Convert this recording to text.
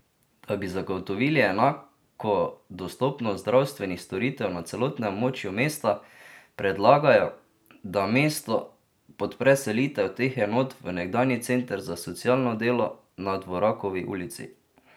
Da bi zagotovili enako dostopnost zdravstvenih storitev na celotnem območju mesta, predlagajo, da mesto podpre selitev teh enot v nekdanji Center za socialno delo na Dvorakovi ulici.